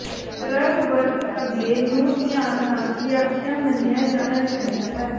drug ਵਰਤ ਅੱਗੇ ਨੂੰ ਧਿਆਨ ਨਾਲ ਵਿਆਖਿਆ ਮੰਨਿਆ ਜਾਣਾ ਚਾਹੀਦਾ ਹੈ